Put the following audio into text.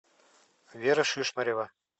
вера шишмарева